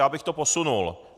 Já bych to posunul.